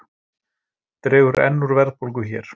Dregur enn úr verðbólgu hér